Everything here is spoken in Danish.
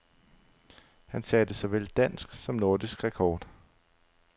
Han satte såvel dansk som nordisk rekord.